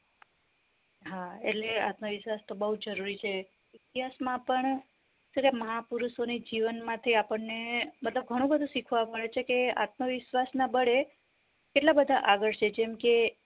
હા એટલે આત્મવિશ્વાસ તો બુજ જરૂરી છે ઈતિહાસ માં પણ શું કેવાય મહાપુરુષો ની જીવન માંથી આપણને બધા ઘણું બધું શીખવા મળે છે કે આત્મવિશ્વા ના બાલી બળે કેટલા બધા આગળ છે જેમ કે